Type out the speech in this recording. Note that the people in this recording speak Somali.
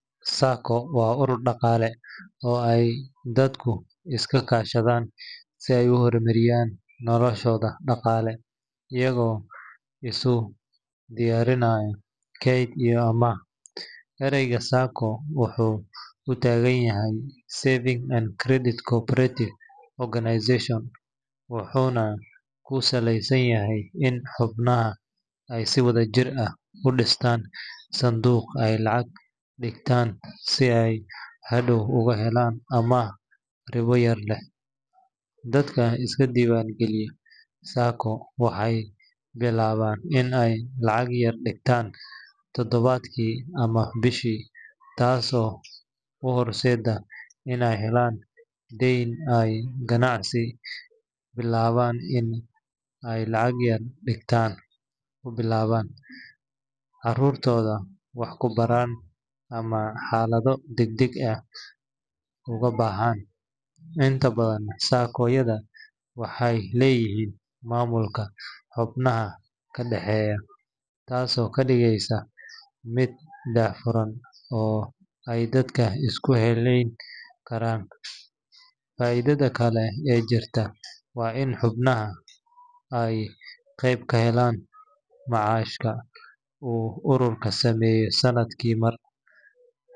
SACCO waa urur dhaqaale oo ay dadku iska kaashadaan si ay u horumariyaan noloshooda dhaqaale iyagoo isu diyaarinaya kayd iyo amaah. Ereyga SACCO wuxuu u taagan yahay Savings and Credit Cooperative Organization, wuxuuna ku saleysan yahay in xubnaha ay si wadajir ah u dhistaan sanduuq ay lacag dhigtaan si ay hadhow uga helaan amaah ribo yar leh. Dadka iska diiwaan geliya SACCO waxay billaabaan in ay lacag yar dhigtan toddobaadkii ama bishii, taasoo u horseedda inay helaan deyn ay ganacsi ku bilaabaan, caruurtooda wax ku baraan, ama xaalado degdeg ah uga baxaan. Inta badan SACCO-yada waxay leeyihiin maamulka xubnaha ka dhaxeeya, taasoo ka dhigaysa mid daahfuran oo ay dadka isku halleyn karaan. Faa’iidada kale ee jirta waa in xubnaha ay qayb ka helaan macaashka uu ururku sameeyo sannadkii mar.